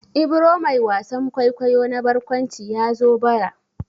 Ibro mai wasan kwaikwayo na barkwanci ya zo bara.